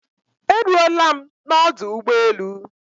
E ruola m n'ọdụ ụgbọelụ